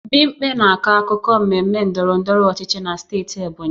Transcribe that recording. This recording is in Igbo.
Bimpe na-akọ akụkọ mmemme ndọrọ ndọrọ ọchịchị na steeti Ebonyi